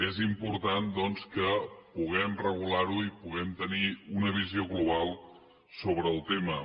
és important doncs que puguem regular ho i puguem tenir una visió global sobre el tema